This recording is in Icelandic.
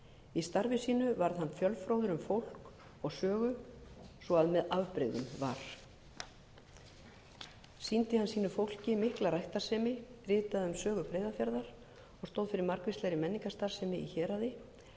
í starfi sínu varð hann fjölfróður um fólk og sögu svo með afbrigðum var sýndi hann sínu fólki mikla ræktarsemi ritaði um sögu breiðafjarðar og stóð fyrir margvíslegri menningarstarfsemi í héraði ekki síst á eiríksstöðum í